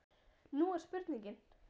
Nú er spurningin?